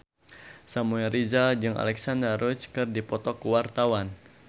Samuel Rizal jeung Alexandra Roach keur dipoto ku wartawan